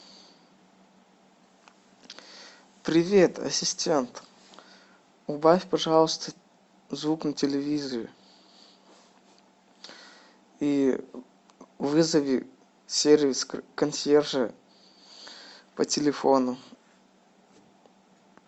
привет ассистент убавь пожалуйста звук на телевизоре и вызови сервис консьержа по телефону